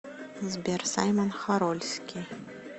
сбер саймон хорольский